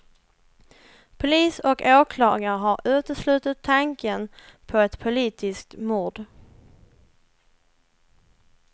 Polis och åklagare har uteslutit tanken på ett politiskt mord.